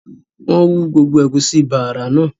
wọ́n hú gbogbo “ ẹ̀gúsí bààrà" náà